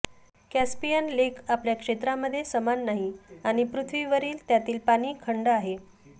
Caspian lake आपल्या क्षेत्रामध्ये समान नाही आणि पृथ्वीवरील त्यातील पाणी खंड आहे